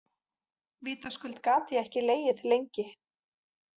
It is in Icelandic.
Vitaskuld gat ég ekki legið lengi.